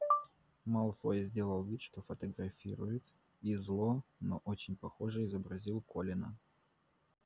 малфой сделал вид что фотографирует и зло но очень похоже изобразил колина